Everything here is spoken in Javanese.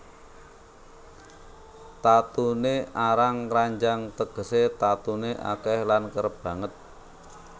Tatuné arang kranjang tegesé tatuné akèh lan kerep banget